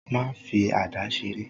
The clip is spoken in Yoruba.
Má fi àdá seré.